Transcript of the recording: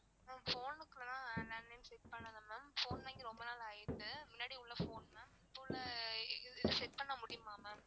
ma'am phone னுக்குலாம் landline set பண்ணல ma'am phone வாங்கி ரொம்ப நாள் ஆயிட்டு மின்னாடி உள்ள phone ma'am இப்போ உள்ள இது இது set பண்ண முடியுமா ma'am?